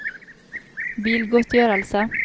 bilgodtgjørelse